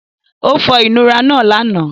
Ó fọ ìnura náà lánàá.